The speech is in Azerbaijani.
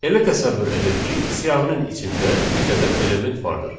Elə təsəvvür edək ki, siyahının içində 100 ədəd element vardır.